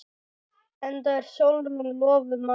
Enda er Sólrún lofuð manni.